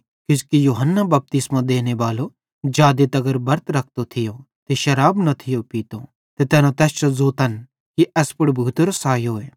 किजोकि यूहन्ना बपतिस्मो देनेबालो जादे तर बरत रखतो थियो ते शराब न थियो पीतो ते तैना तैस जो ज़ोतन कि एस पुड़ भूतेरो सैयो आए